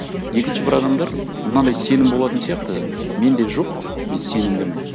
екінші бір адамдар мынандай сенім болатын сияқты менде жоқ мен сенімдімін